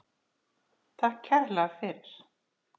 Takk kærlega fyrir.